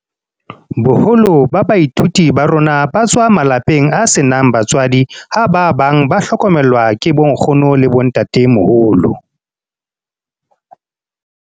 "Boholo ba baithuti ba rona ba tswa malapeng a senang batswadi ha ba bang ba hlokomelwa ke bonkgono le bontatemoholo."